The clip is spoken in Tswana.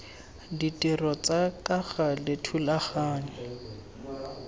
ditiro tsa ka gale thulaganyo